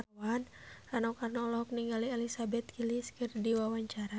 Rano Karno olohok ningali Elizabeth Gillies keur diwawancara